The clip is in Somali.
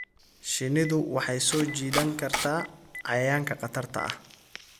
Shinnidu waxay soo jiidan kartaa cayayaanka khatarta ah.